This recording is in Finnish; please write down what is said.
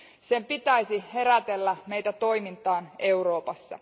Sen pitäisi herätellä meitä toimintaan Euroopassa.